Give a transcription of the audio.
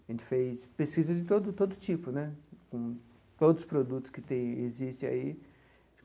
A gente fez pesquisa de todo todo tipo né, com todos os produtos que tem existe aí.